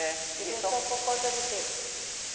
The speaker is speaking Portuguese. É. E deixou por conta do quê?